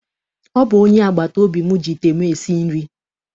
Ọ bụ onye agbataobi m ji ite m esi nri.